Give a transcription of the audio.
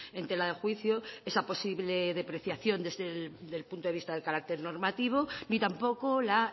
en tela de juicio esa posible depreciación desde el punto de vista del carácter normativo ni tampoco la